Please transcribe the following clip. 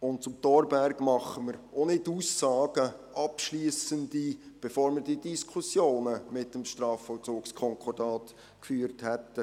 Und zum Thorberg machen wir auch keine abschliessenden Aussagen, bevor wir die Diskussionen mit dem Strafvollzugskonkordat geführt haben.